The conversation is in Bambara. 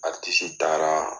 taara